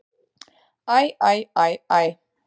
Æ, æ, æ, æ!